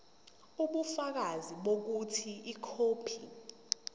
ubufakazi bokuthi ikhophi